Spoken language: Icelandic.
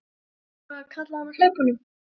Það er bara, kallaði hann á hlaupunum.